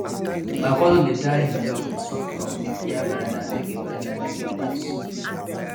my cousin dey tie him dog with soft rope near veranda make e veranda make e relax